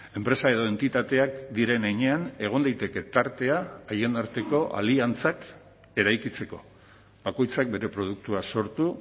enpresa edo entitateak diren heinean egon daiteke tartea haien arteko aliantzak eraikitzeko bakoitzak bere produktua sortu